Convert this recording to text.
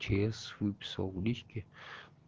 чс выписал в личке